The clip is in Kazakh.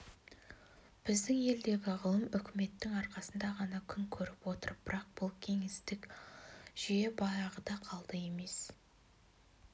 біздің елдегі ғылым үкіметтің арқасында ғана күн көріп отыр бірақ бұл кеңестік жүйе баяғыда қалды емес